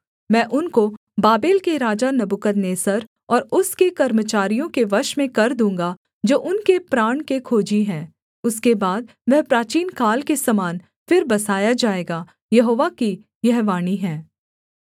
मैं उनको बाबेल के राजा नबूकदनेस्सर और उसके कर्मचारियों के वश में कर दूँगा जो उनके प्राण के खोजी हैं उसके बाद वह प्राचीनकाल के समान फिर बसाया जाएगा यहोवा की यह वाणी है